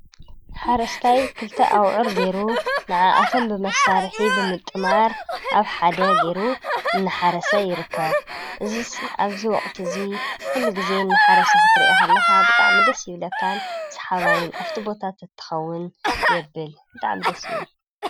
ሓረስታይ ክልተ ኣቡዑር ገይሩ ንዓኣቶም ብመሳርሒ ብምጥማር ኣብ ሓደ ገይሩ እናሓረሰ ይርከብ፡፡ እዚ ኣብዚ ወቕቲ እዚ ጊዜ እናሓረሰ ክትሪኦ ከለኻ ብጣዕሚ ደስ ይብለካን ሰሓባይን ኣብቲ ቦታ ተትኸውን የብል ብጣዕሚ ደስ ይብል፡፡